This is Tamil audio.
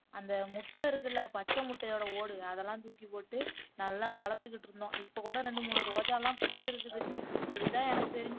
அந்த முட்டை இருக்குல்ல பச்சை முட்டையோட ஓடு அதெல்லாம் தூக்கி போட்டு நல்லா வளத்துக்குட்டுருந்தோம் இப்போ கூட ரெண்டு மூனு ரோஜாலாம் பூத்திருக்குது இதுதான் எனக்கு தெரிஞ்சு